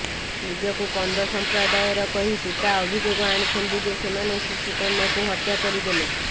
ନିଜକୁ କନ୍ଧ ସଂପ୍ରଦାୟର କହି ପିତା ଅଭିଯୋଗ ଆଣିଛନ୍ତି ଯେ ସେମାନେ ଶିଶୁ କନ୍ୟାକୁ ହତ୍ୟା କରିଦେଲେ